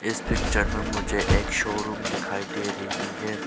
इस पिक्चर में मुझे एक शोरूम दिखाई दे रही है।